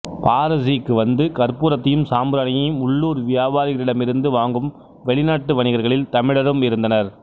பாரஸுக்கு வந்து கற்பூரத்தையும் சாம்பிராணியையும் உள்ளூர் வியாபாரிகளிடமிருந்து வாங்கும் வெளிநாட்டு வணிகர்களில் தமிழரும் இருந்தனர்